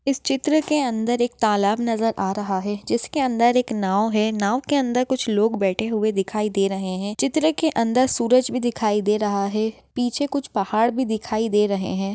इस चित्र के अंदर एक तालाब नजर आ रहा है जिसके अंदर एक नाँव है नाँव के अंदर कुछ लोग बैठे हुए दिखाई दे रहे है चित्र के अंदर सूरज भी दिखाई दे रहा है पीछे कुछ पहाड़ भी दिखाई दे रहे है।